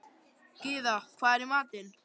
Gyða, hvað er í matinn?